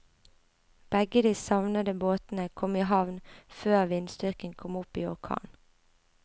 Begge de savnede båtene kom i havn før vindstyrken kom opp i orkan.